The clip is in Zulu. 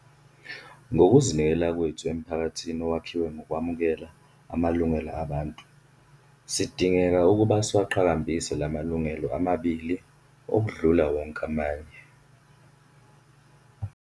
"Ngokuzinikela kwethu emphakathini owakhiwe ngokwamukela amalungelo abantu sidingeka ukuba siwaqhakambise lamalungelo amabili okudlula wonke amanye."